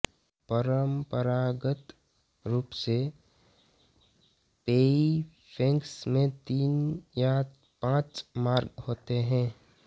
परंपरागत रूप से पैइफैंग्स में तीन या पांच मार्ग होते हैं